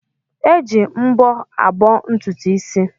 Eji mbọ abọ́ ntutu isi.